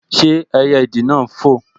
Ṣé ẹyẹ ìdì náà n fò?